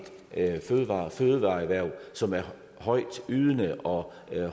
fødevareerhverv som er højtydende og